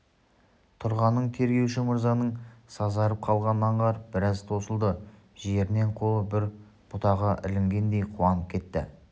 тұрғанын тергеуші мырзаның сазарып қалғанын аңғарып біраз тосылды жерінен қолы бір бұтаға ілінгендей қуанып кетті